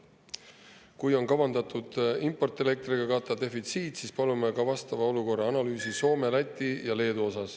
Kui defitsiit on kavandatud katta importelektriga, siis palume ka Soome, Läti ja Leedu olukorra analüüsi.